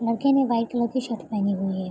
लड़के ने white colour की शर्ट पहनी हुई है।